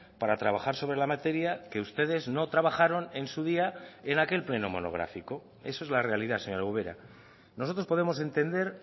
para trabajar sobre la materia que ustedes no trabajaron en su día en aquel pleno monográfico eso es la realidad señora ubera nosotros podemos entender